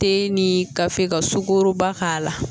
Te ni ka fɛ ka sukoro ba k'a la